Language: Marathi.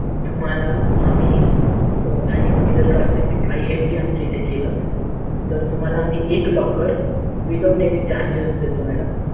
तुम्हाला आम्ही आणि तुम्ही जर का असे तर तुम्हाला आम्ही एक without any charges देतो madam